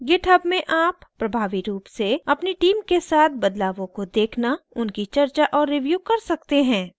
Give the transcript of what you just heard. github में आप प्रभावी रूप से अपनी team के साथ बदलावों को देखना उनकी चर्चा और रिव्यु कर सकते हैं